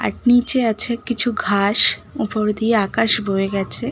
আর নিচে আছে কিছু ঘাস। ওপর দিয়ে আকাশ বয়ে গেছে।